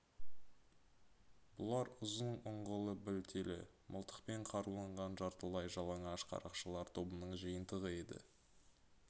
бұлар ұзын ұңғылы білтелі мылтықпен қаруланған жартылай жалаңаш қарақшылар тобының жиынтығы еді